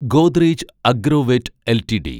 Godrej Agrovet LTD